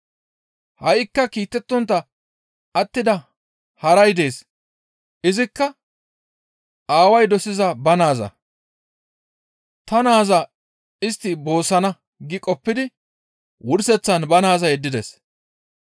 «Ha7ikka kiitettontta attida haray dees; izikka aaway dosiza ba naaza. ‹Ta naaza istti boossana› gi qoppidi wurseththan ba naaza yeddides.